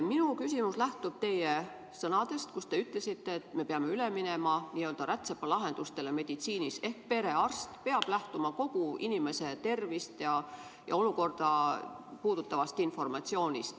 Minu küsimus lähtub teie sõnadest, et me peame meditsiinis üle minema n‑ö rätsepalahendustele ehk perearst peab lähtuma kogu inimese tervist ja olukorda puudutavast informatsioonist.